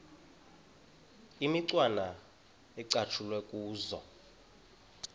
imicwana ecatshulwe kuzo